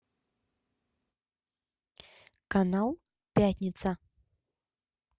канал пятница